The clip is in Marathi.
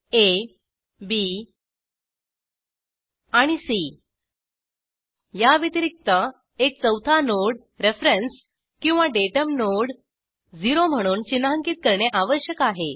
आ बी आणि सी या व्यतिरिक्त एक चौथा नोड रेफरेन्स किंवा डाटम नोड 0 म्हणून चिन्हांकित करणे आवश्यक आहे